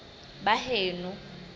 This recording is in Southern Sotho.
baheno